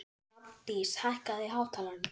Hrafndís, hækkaðu í hátalaranum.